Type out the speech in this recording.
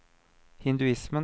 hinduismen